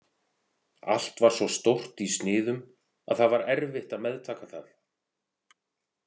Allt var svo stórt í sniðum að það var erfitt að meðtaka það.